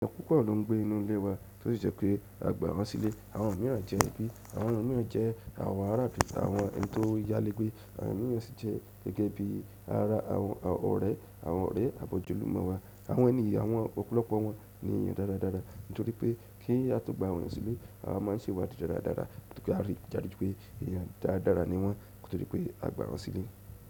Ẹ̀yàn púpọ̀ lọ́ ń gbé inú ilé wa, tó sì jẹ́ pé a gbà wọ́n sílé. Àwọn mìíràn jẹ́ ẹbí, àwọn mìíràn jẹ́ àwọn ará, àwọn tó yálé gbé, àwọn mìíràn sì jẹ́ gẹ́gẹ́ bí ara àwọn ọ̀rẹ́, àwọn ọ̀rẹ́ abọ̀jọ́lùmọ́ wa. Àwọn ènìyàn, àwọn ọ̀pọ̀lọpọ̀ wọn ni èèyàn dáradára, nítorí pé kí á tó gba awọ́n eyan sílé, a máa ń sẹ̀wá di dáradára tí a rí dájú wipé èèyàn dáradára ni wọ́n nko to di pé a gbà wọ́n sílé.